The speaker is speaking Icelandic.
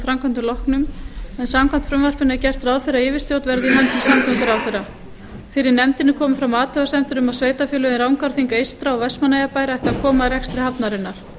framkvæmdum loknum en samkvæmt frumvarpinu er gert ráð fyrir að yfirstjórn verði í höndum samgönguráðherra fyrir nefndinni komu fram athugasemdir um að sveitarfélögin rangárþing eystra og vestmannaeyjabær ættu að koma að rekstri hafnarinnar